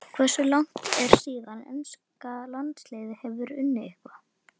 Hversu langt er síðan enska landsliðið hefur unnið eitthvað?